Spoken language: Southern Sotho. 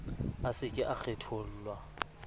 a se ke a kgethollwa